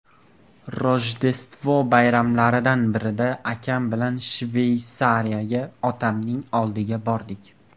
Rojdestvo bayramlaridan birida akam bilan Shveysariyaga, otamning oldiga bordik.